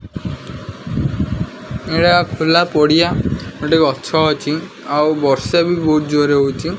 ଏଇଟା ଖୋଲା ପଡ଼ିଆ ଏଠି ଗଛ ଅଛି ଆଉ ବର୍ଷା ବି ବହୁତ୍ ଜୋର୍ ରେ ହଉଛି।